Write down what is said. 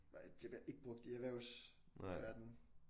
Nej det bliver ikke brugt i erhvervsverden